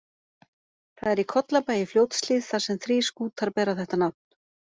Það er í Kollabæ í Fljótshlíð, þar sem þrír skútar bera þetta nafn.